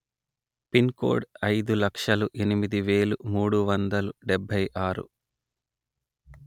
pin code అయిదు లక్షలు ఎనిమిది వేలు మూడు వందలు డెబ్బై ఆరు